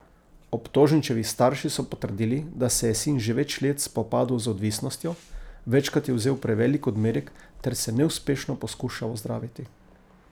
Obtoženčevi starši so potrdili, da se je sin že več let spopadal z odvisnostjo, večkrat je vzel prevelik odmerek ter se neuspešno poskušal ozdraviti.